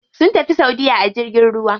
Sun tafi saudiya a jirgin ruwa.